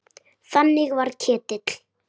Þannig var Ketill.